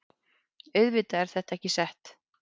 Auðvitað er þetta ekki sett